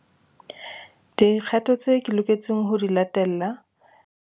Di kgato tse ke loketseng ho di latella.